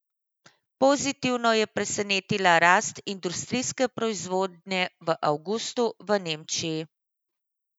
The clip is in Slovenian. Pozitivno je presenetila rast industrijske proizvodnje v avgustu v Nemčiji.